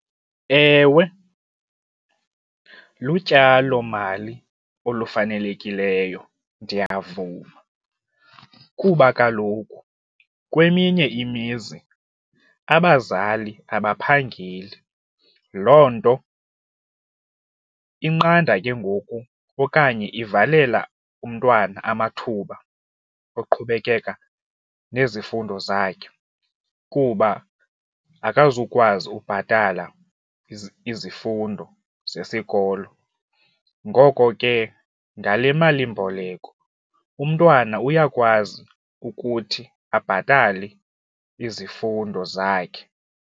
Ewe, lutyalomali olufanelekileyo ndiyavuma kuba kaloku kweminye imizi abazali abaphangeli, loo nto inqanda ke ngoku okanye ivalela umntwana amathuba oqhubekeka nezifundo zakhe kuba akazukwazi ukubhatala izifundo zesikolo ngoko ke ngale malimboleko umntwana uyakwazi ukuthi abhatale izifundo zakhe.